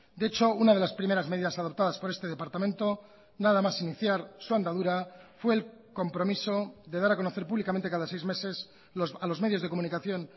de hecho una de las primeras medidas adoptadas por este departamento nada más iniciar su andadura fue el compromiso de dar a conocer públicamente cada seis meses a los medios de comunicación